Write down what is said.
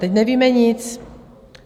Teď nevíme nic.